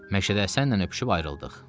Məşədəsənlə öpüşüb ayrıldıq.